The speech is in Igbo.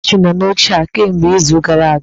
Chinchị nọ n'oche a kemgbe izu gara aga!